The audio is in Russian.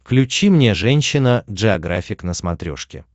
включи мне женщина джеографик на смотрешке